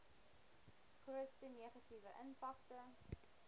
grootste negatiewe impakte